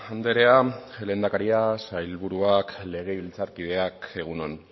andrea lehendakaria sailburuak legebiltzarkideak egun on